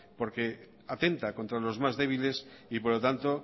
porque atenta contra los más débiles y por lo tanto